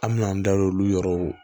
An me n'an da don olu yɔrɔw